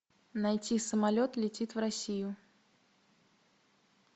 найти самолет летит в россию